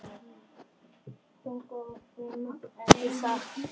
Tuttugu og fimm, ekki satt?